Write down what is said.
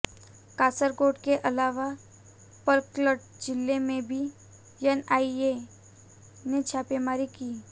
कासरगोड के अलावा पलक्कड जिले में भी एनआईए ने छापेमारी की